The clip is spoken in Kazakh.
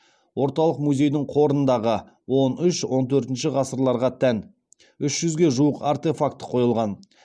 орталық музейдің қорындағы он үш он төртінші ғасырларға тән үш жүзге жуық артефакті қойылған